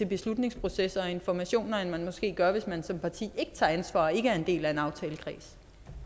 beslutningsprocesser og informationer end man måske gør hvis man som parti ikke tager ansvar og ikke er en del af en aftalekreds